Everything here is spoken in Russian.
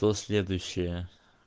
кто следующая